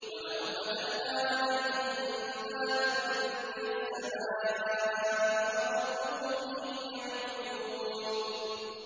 وَلَوْ فَتَحْنَا عَلَيْهِم بَابًا مِّنَ السَّمَاءِ فَظَلُّوا فِيهِ يَعْرُجُونَ